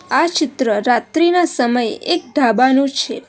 આ ચિત્ર રાત્રિના સમયે એક ઢાબાનું છે.